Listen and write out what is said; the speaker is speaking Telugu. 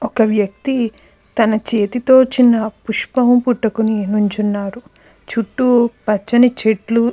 ఒక వ్యక్తి తన చేతితోనే పుష్పం పట్టుకొని నించొని ఉన్నాడు. చుట్టూ పచ్చని చెట్లు--